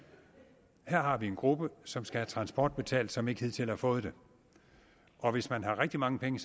at her har vi en gruppe som skal have transport betalt som ikke hidtil har fået det og hvis man har rigtig mange penge